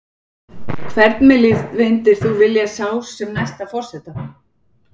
Hvern myndir þú vilja sjá sem næsta forseta?